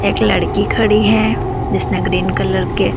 एक लड़की खड़ी है जिसने ग्रीन कलर के--